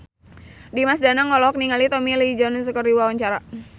Dimas Danang olohok ningali Tommy Lee Jones keur diwawancara